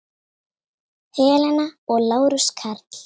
Helena og Lárus Karl.